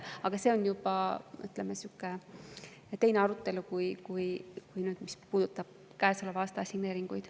Aga see on juba teine arutelu kui see, mis puudutab käesoleva aasta assigneeringuid.